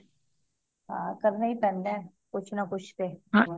ਹਾਂ ਕਰਨਾ ਹੀ ਪੈਂਦਾ ਕੁਛ ਨਾ ਕੁਛ ਤੇ